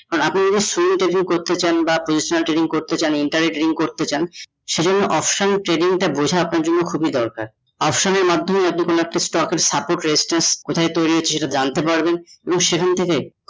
আপনি যদি share trading করতে চান বা personal trading করতে চান বা inter trading করতে চান সে জন্য option trading টা বোঝা টা আপনার জন্য খুবই দরকার option এর মধ্যম stock এর support কোথায় তৈরি হচ্ছে সেটা জানতে পারবেন ও সেখান থেকে